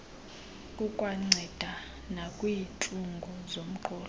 kukwanceda nakwiintlungu zomqolo